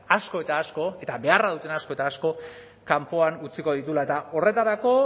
asko eta asko eta beharra duten asko eta asko kanpoan utziko dituela eta horretarako